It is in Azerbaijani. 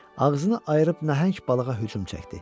Ağzını ayırıb nəhəng balığa hücum çəkdi.